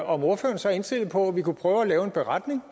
om ordføreren så er indstillet på at vi prøver at lave en beretning